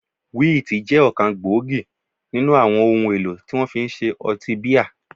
Wíìtì jẹ́ ọ̀kan gbòógì nínú àwọn ohun èlò tí wọ́n fi ń ṣe ọtí bíà